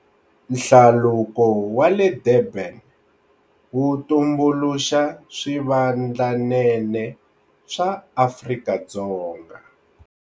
Hlaluko wa le Durban wu tumbuluxa swivandlanene swa Afrika-Dzonga.